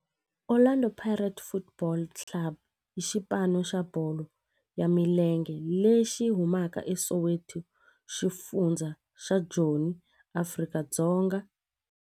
Orlando Pirates Football Club i xipano xa bolo ya milenge lexi humaka eSoweto, xifundzha xa Joni, Afrika-Dzonga.